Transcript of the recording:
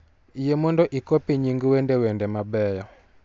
yie mondo ikopi nying wende wende mabeyo